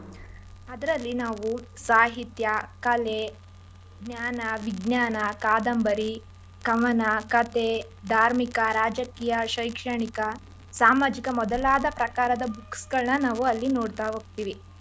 ಅದ್ರಲ್ಲಿ ನಾವು ಸಾಹಿತ್ಯ, ಕಲೆ, ಜ್ಞಾನ, ವಿಜ್ಞಾನ, ಕಾದಂಬರಿ, ಕವನ, ಕಥೆ, ಧಾರ್ಮಿಕ, ರಾಜಕೀಯ, ಶೈಕ್ಷಣಿಕ, ಸಾಮಾಜಿಕ ಮೊದಲಾದ ಪ್ರಕಾರದ books ಗಳನ್ನ ನಾವು ಅಲ್ಲಿ ನೋಡ್ತಾ ಹೋಗ್ತಿವಿ.